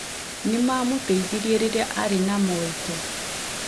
Nĩ maamũteithirie rĩrĩa aarĩ na moritũ.